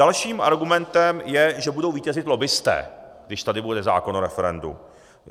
Dalším argumentem je, že budou vítězit lobbisté, když tady bude zákon o referendu.